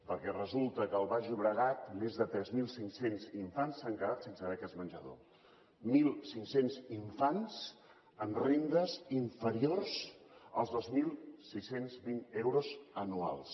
perquè resulta que al baix llobregat més de tres mil cinc cents infants s’han quedat sense beques menjador mil cinc cents infants amb rendes inferiors als dos mil sis cents i vint euros anuals